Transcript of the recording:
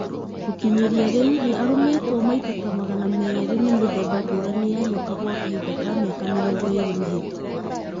Gũkinyĩria rĩu, nĩ arũmĩtwo maita ta magana meerĩ nĩ mĩthemba ngũrani ya nyoka gwa kahinda ka mĩaka mĩrongo ĩrĩ mĩhĩtũku.